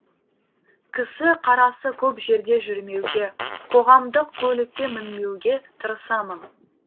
кісі қарасы көп жерде жүрмеуге қоғамдық көлікке мінбеуге тырысамын